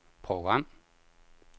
program